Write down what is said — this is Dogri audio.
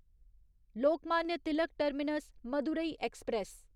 Lokmanya Tilak Terminus Madurai express